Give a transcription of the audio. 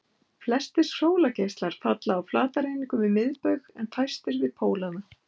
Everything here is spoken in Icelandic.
Flestir sólargeislar falla á flatareiningu við miðbaug en fæstir við pólana.